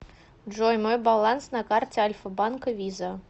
джой мой баланс на карте альфа банка виза